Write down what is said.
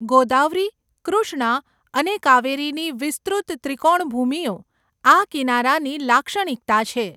ગોદાવરી, કૃષ્ણા અને કાવેરીની વિસ્તૃત ત્રિકોણભૂમિઓ આ કિનારાની લાક્ષણિકતા છે.